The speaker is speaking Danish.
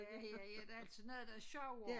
Ja ja ja der er altid noget der er sjovere